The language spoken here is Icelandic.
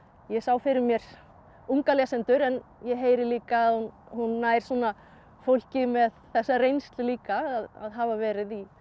ég sá fyrir mér unga lesendur en ég heyri líka að hún hún nær fólki með þessa reynslu líka að hafa verið